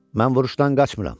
Mən vuruşdan qaçmıram.